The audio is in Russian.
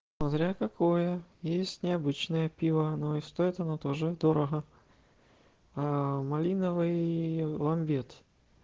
смотря какое есть необычное пиво но и стоит оно тоже дорого малиновый ламберт